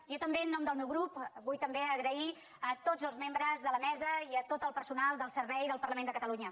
jo també en nom del meu grup vull també agrair a tots els membres de la mesa i a tot el personal del servei del parlament de catalunya